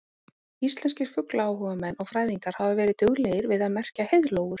Íslenskir fuglaáhugamenn og fræðingar hafa verið duglegir við að merkja heiðlóur.